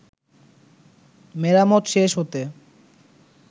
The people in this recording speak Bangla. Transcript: মেরামত শেষ হতে